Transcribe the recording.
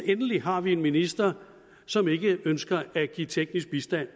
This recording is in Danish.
endelig har vi en minister som ikke ønsker at give teknisk bistand